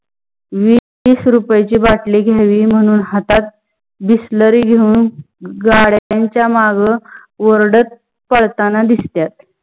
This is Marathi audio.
विस वीस रुपायाची बाटली घेयावी म्हनून हातात bisleri घेउन गढ्यांच्या मागे ओरडत पाळताना दिसतायत.